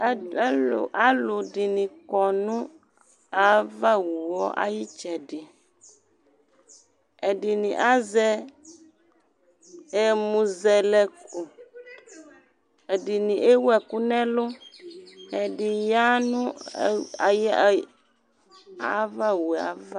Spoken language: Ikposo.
Alʋ dɩnɩ kɔ nʋ ava wu ayɩtsɛdɩƐdɩnɩ azɛ ɛmʋzɛlɛko, ɛdɩnɩ ewu ɛkʋ nɛlʋ, ɛdɩnɩ ya nʋ ava wuava